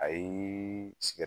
A yee sigɛt